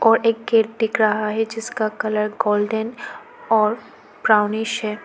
व एक गेट दिख रहा है जिसका कलर गोल्डन और ब्राउनिश है।